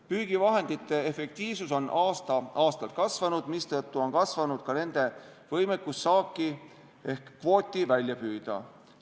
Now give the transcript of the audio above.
Püügivahendite efektiivsus on aasta-aastalt kasvanud, mistõttu on kasvanud ka võimekus saaki ehk kvooti välja püüda.